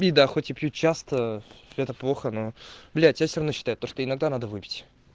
ну да хоть и пью часто это плохо на блять я все равно читать то что иногда надо выпить